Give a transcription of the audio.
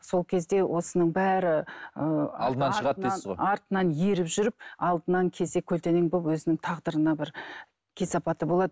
сол кезде осының бәрі ыыы артынан еріп жүріп алдынан кесе көлденең болып өзінің тағдырына бір кесапаты болады